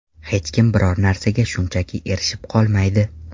Hech kim biror narsaga shunchaki erishib qolmaydi.